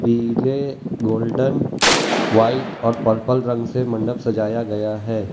पीले golden white और purple रंग से मंडक सजाया गया है।